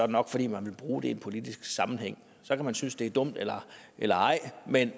nok fordi man vil bruge det i en politisk sammenhæng så kan man synes det er dumt eller eller ej men